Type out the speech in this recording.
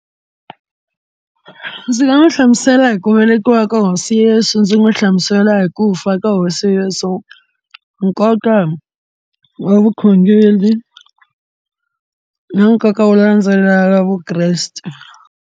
Ndzi nga n'wi hlamusela hi ku velekiwa ka hosi Yesu, ndzi n'wi hlamusela hi ku fa ka hosi Yesu, nkoka wa vukhongeri ni nkoka wo landzelelaka Vukreste.